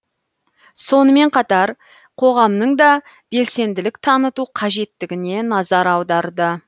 сонымен қатар қоғамның да белсенділік таныту қажеттігіне назар аударды